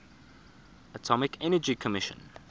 atomic energy commission